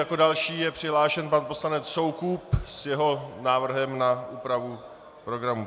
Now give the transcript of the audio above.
Jako další je přihlášený pan poslanec Soukup s jeho návrhem na úpravu programu.